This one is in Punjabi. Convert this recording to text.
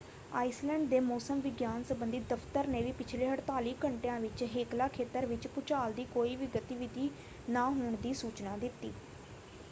ਆਇਸਲੈਂਡ ਦੇ ਮੌਸਮ ਵਿਗਿਆਨ ਸੰਬੰਧੀ ਦਫ਼ਤਰ ਨੇ ਵੀ ਪਿਛਲੇ 48 ਘੰਟਿਆਂ ਵਿੱਚ ਹੇਕਲਾ ਖੇਤਰ ਵਿੱਚ ਭੂਚਾਲ ਦੀ ਕੋਈ ਵੀ ਗਤੀਵਿਧੀ ਨਾ ਹੋਣ ਦੀ ਸੂਚਨਾ ਦਿੱਤੀ।